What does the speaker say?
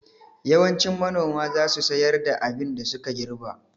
Yawancin manoma za su sayar da abin da suka girɓa